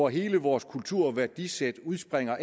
hele vores kultur og værdisæt udspringer